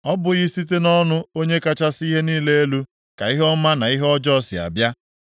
Ọ bụghị site nʼọnụ Onye kachasị ihe niile elu ka ihe ọma na ihe ọjọọ si abịa?